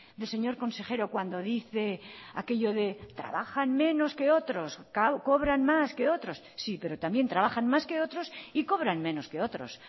del señor consejero cuando dice aquello de trabajan menos que otros cobran más que otros sí pero también trabajan más que otros y cobran menos que otros